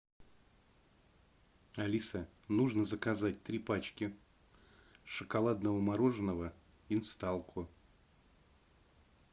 алиса нужно заказать три пачки шоколадного мороженого инсталко